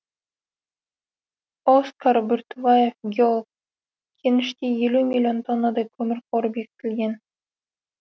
оскар бүртібаев геолог кеніште елу миллион тоннадай көмір қоры бекітілген